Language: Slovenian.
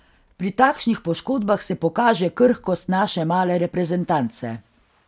Pri takšnih poškodbah se pokaže krhkost naše male reprezentance.